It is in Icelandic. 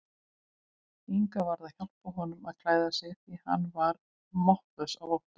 Inga varð að hjálpa honum að klæða sig því hann var máttlaus af ótta.